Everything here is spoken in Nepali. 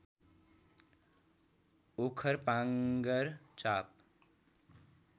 ओखर पाँगर चाँप